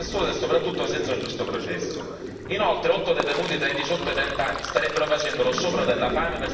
Inoltre, otto detenuti tra i diciotto e i trent'anni starebbero facendo lo sciopero della fame per sensibilizzare l'opinione pubblica internazionale.